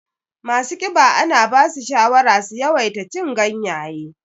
Masu ƙiba ana basu shawara su yawaita cin ganyaye